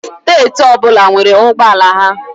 Steeti ọbụla nwere ụgbọala ha.